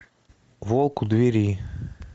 волк у двери